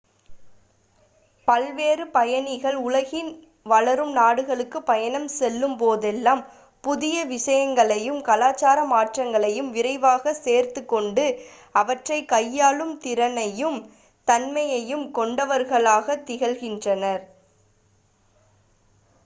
பல்வேறு பயணிகள் உலகின் வளரும் நாடுகளுக்கு பயணம் செல்லும் போதெல்லாம் புதிய விசயங்களையும் கலாச்சார மாற்றங்களையும் விரைவாக சேர்த்துக்கொண்டு அவற்றை கையாளும் திறனையும் தன்மையையும் கொண்டவர்களாகத் திகழ்கின்றனர்